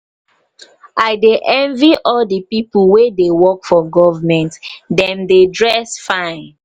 i dey envy all the people wey dey work for government. dem dey dress fine.